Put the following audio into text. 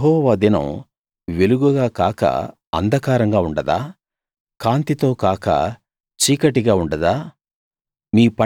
యెహోవా దినం వెలుగుగా కాక అంధకారంగా ఉండదా కాంతితో కాక చీకటిగా ఉండదా